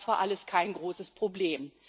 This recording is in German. Das war alles kein großes Problem.